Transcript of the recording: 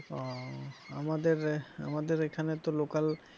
ও আমাদের এখানে আমাদের এখানে তো local